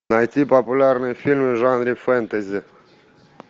найти популярные фильмы в жанре фэнтези